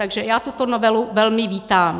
Takže já tuto novelu velmi vítám.